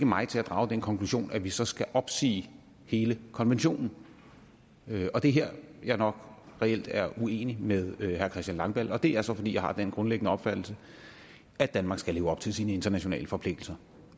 mig til at drage den konklusion at vi så skal opsige hele konventionen det er her jeg nok reelt er uenig med herre christian langballe og det er så fordi jeg har den grundlæggende opfattelse at danmark skal leve op til sine internationale forpligtelser